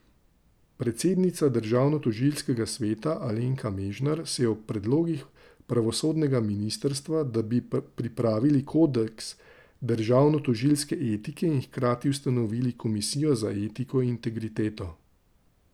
Predsednica Državnotožilskega sveta Alenka Mežnar se ob predlogih pravosodnega ministrstva, da bi pripravili kodeks državnotožilske etike in hkrati ustanovili komisijo za etiko in integriteto.